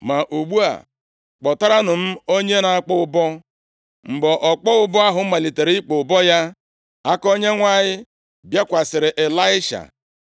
Ma ugbu a, kpọtaranụ m onye na-akpọ ụbọ.” Mgbe ọkpọ ụbọ ahụ malitere ịkpọ ụbọ ya, aka Onyenwe anyị bịakwasịrị Ịlaisha.